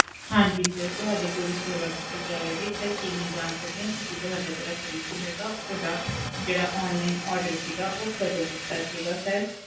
ਹਾਂਜੀ sir ਤੁਹਾਡੀ ਪੂਰੀ ਸੇਵਾ ਕੀਤੀ ਜਾਵੇਗੀ sir ਕੀ ਮੈਂ ਜਾਣ ਸਕਦੀ ਹਾਂ ਤੁਸੀਂ ਤੁਹਾਡਾ ਜਿਹੜਾ fridge ਹੈਗਾ ਉਹਦਾ ਜਿਹੜਾ online order ਸੀਗਾ ਉਹ ਕਦੋਂ ਕੀਤਾ ਸੀਗਾ sir